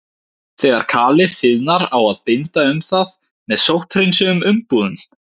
Þegar kalið þiðnar á að binda um það með sótthreinsuðum umbúðum.